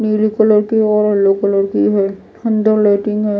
नीले कलर की और येल्लो कलर की है। अंदर लाइटिंग है।